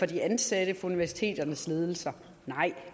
de ansatte og universiteternes ledelser nej